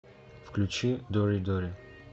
включи доридори